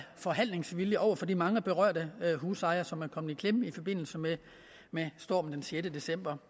forhandlingsvilje over for de mange berørte husejere som er kommet i klemme i forbindelse med stormen den sjette december